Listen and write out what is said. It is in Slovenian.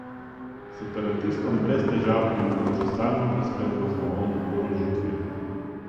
Separatistom brez težav omogoča stalno preskrbo z novo oborožitvijo.